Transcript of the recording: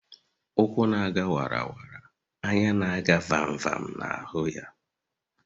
Ụkwụ na- aga wara wara, anya na-aga vam vam na-ahụ ya.